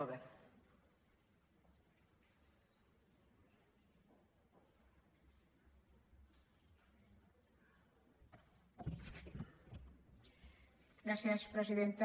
gràcies presidenta